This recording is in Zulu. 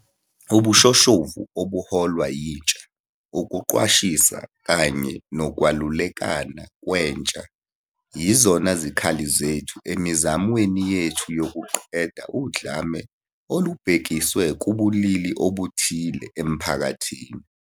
Ubushoshovu obuholwa yintsha, ukuqwashisa kanye nokwelulekana kwentsha yizona zikhali zethu emizamweni yethu yokuqeda udlame olubhekiswe kubulili obuthile emphakathini.